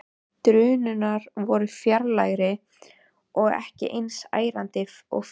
Drunurnar voru fjarlægari og ekki eins ærandi og fyrr.